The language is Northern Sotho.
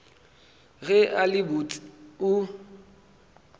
ge a le botse o